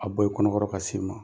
A bɔ i kɔnɔ kɔrɔ ka se ma.